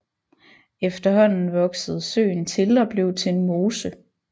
Efterhånden voksede søen til og blev til en mose